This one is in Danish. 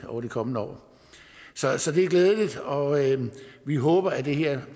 over de kommende år så så det er glædeligt og vi håber at det her